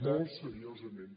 molt seriosament